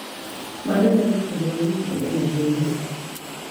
Mano nyalo puonjowa gik mang’eny ahinya .